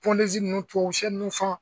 ninnu tubabusiyɛ ninnu fan.